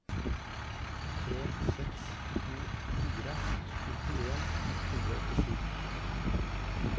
tre seks to fire nittien ett hundre og åttisju